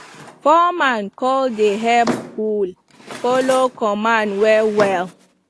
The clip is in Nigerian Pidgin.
plowman call dey help bull follow command well well